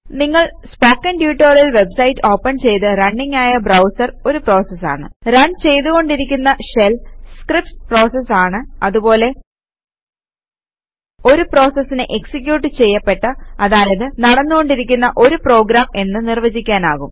നിങ്ങൾ spoken tutorial website open ചെയ്ത running ആയ ബ്രൌസർ ഒരു പ്രോസസ് ആണ് റൺ ചെയ്തുകൊണ്ടിരിക്കുന്ന ഷെൽ സ്ക്രീപ്റ്റ്സ് പ്രോസസസ് ആണ് അതുപോലെ ഒരു പ്രോസസിനെ എക്സിക്യൂട്ട് ചെയ്യപ്പെട്ട അതായത് നടന്നു കൊണ്ടിരിക്കുന്ന ഒരു പ്രോഗ്രാം എന്ന് നിർവചിക്കുവാനാകും